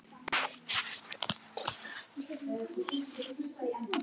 Mamma til að sjúga.